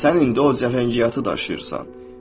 Sən indi o cəfəngiyatı daşıyırsan.